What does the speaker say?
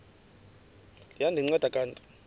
liya ndinceda kanti